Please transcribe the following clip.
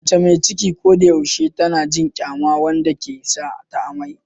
Mace mai ciki ko da yaushe tana jin kyama wanda ke sa ta amai.